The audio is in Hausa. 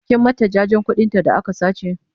kin mata jajen ƙuɗin ta da aka sace?